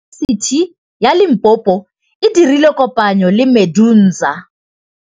Yunibesiti ya Limpopo e dirile kopanyô le MEDUNSA.